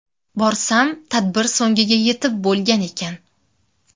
Borsam tadbir so‘ngiga yetib bo‘lgan ekan.